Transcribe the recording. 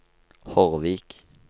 Hordvik